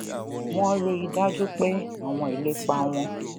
wón rí i dájú pé àwọn ìlépa wọn